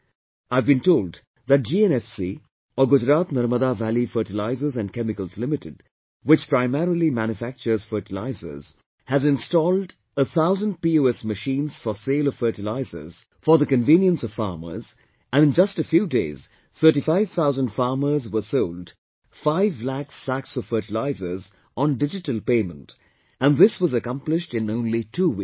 I have been told that GNFC or Gujarat Narmada Valley Fertilizers & Chemicals Limited, which primarily manufactures fertilizers, has installed a thousand PoS machines for sale of fertilizers for the convenience of farmers and in just a few days 35 thousand farmers were sold 5 lakh sacs of fertilizers on digital payment and this was accomplished in only two weeks